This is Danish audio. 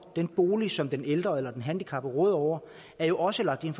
den bolig som den ældre eller den handicappede råder over er jo også lagt ind